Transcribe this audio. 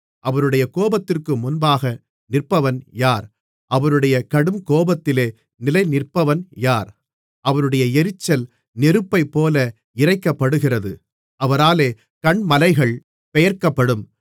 அவருடைய கோபத்திற்கு முன்பாக நிற்பவன் யார் அவருடைய கடுங்கோபத்திலே நிலைநிற்பவன் யார் அவருடைய எரிச்சல் நெருப்பைப்போல இறைக்கப்படுகிறது அவராலே கன்மலைகள் பெயர்க்கப்படும்